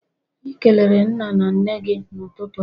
I kelere nne na nna gi n'ututu a?